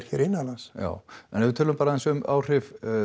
hér innanlands já en ef við tölum aðeins bara um áhrif